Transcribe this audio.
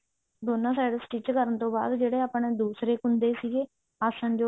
ਦੋਨਾ side stich ਕਰਨ ਤੋਂ ਬਾਅਦ ਜਿਹੜੇ ਆਪਣੇ ਦੂਸਰੇ ਕੁੰਡੇ ਸੀਗੇ ਆਸਣ ਜੋੜ